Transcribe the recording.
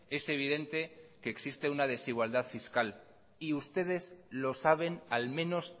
es evidente que existe una desigualdad fiscal y ustedes lo saben al menos